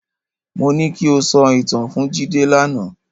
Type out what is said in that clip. Mo ní ki o sọ ìtàn fún Jídé lánàá.